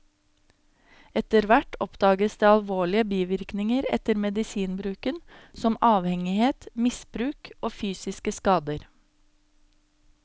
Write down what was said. Etterhvert oppdages det alvorlige bivirkninger etter medisinbruken, som avhengighet, misbruk og fysiske skader.